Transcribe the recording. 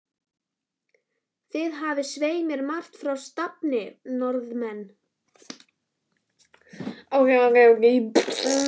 Þið hafið svei mér margt fyrir stafni, norðanmenn.